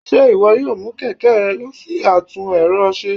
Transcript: Ṣe iwọ yóò mu kẹkẹ rẹ lọ si atún erò se